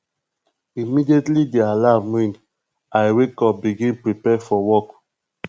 immediately di alarm ring i wake up begin prepare for work